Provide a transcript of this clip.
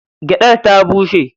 Gyaɗar ta bushe.